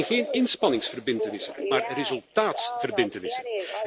Het zijn geen inspanningsverbintenissen, maar resultaatsverbintenissen.